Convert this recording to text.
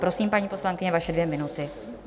Prosím, paní poslankyně, vaše dvě minuty.